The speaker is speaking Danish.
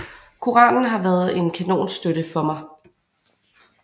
Koranen har været en kanonstøtte for mig